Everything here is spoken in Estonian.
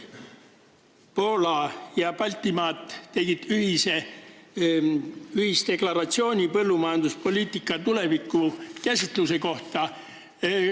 Poola ja Baltimaad tegid ühisdeklaratsiooni põllumajanduspoliitika tuleviku käsitluse kohta.